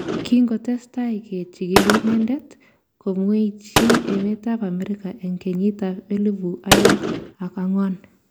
Kingotesetai ke chigili inendet, komweichi emet ab Amerika eng kenyit ab elibu aeng ak ang'wan